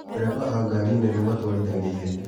Matereba a gari nene matwarithagia ihenya.